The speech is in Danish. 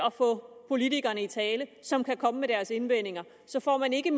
at få politikerne i tale som kan komme med indvendinger så får man ikke